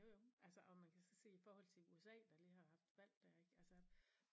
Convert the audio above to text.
Jo jo altså og man kan så se i forhold til USA der lige har haft valg der ik altså